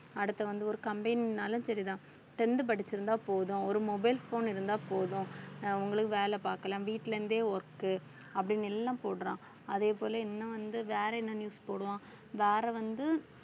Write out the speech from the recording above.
அடுத்து வந்து ஒரு company னாலும் சரிதான் tenth படிச்சிருந்தா போதும் ஒரு mobile phone இருந்தா போதும் அஹ் உங்களுக்கு வேலை பாக்கலாம் வீட்டுல இருந்தே work அப்படின்னு எல்லாம் போடுறான் அதே போல இன்னும் வந்து வேற என்ன news போடுவான் வேற வந்து